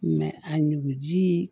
a nuguji